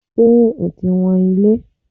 Ṣé o ti wọn ilẹ̀?